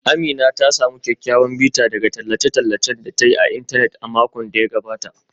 Amina ta samu kyawawan bita daga tallace-tallacen da ta yi a intanet a makon da ya gabata.